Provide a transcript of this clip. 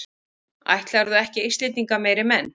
Ætlarðu ekki Íslendinga meiri menn?